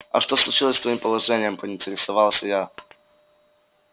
а что случилось с твоим положением поинтересовался я